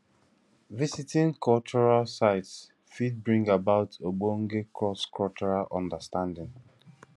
visiting cultural sites fit bring about ogbonge cross cultural understanding